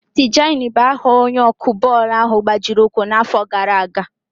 Tijani bụ aha onye ọkụ bọọlụ ahụ gbajiri ụkwụ n'àfọ́ gaara aga.